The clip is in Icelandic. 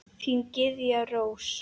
Þín, Gyða Rós.